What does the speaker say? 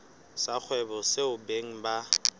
sa kgwebo seo beng ba